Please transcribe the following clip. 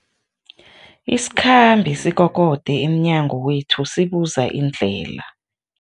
Isikhambi sikokode emnyango wethu sibuza indlela.